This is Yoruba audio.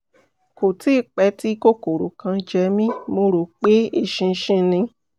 kò tíì pẹ́ tí kòkòrò kan jẹ mí; mo rò pé eṣinṣin ni